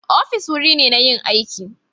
Ofis wuri ne inda ake yin aiki